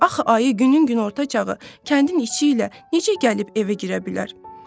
Axı ayı günün günorta çağı kəndin içi ilə necə gəlib evə girə bilər?